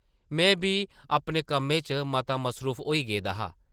में बी अपने कम्मै च मता मसरूफ होई गेदा हा ।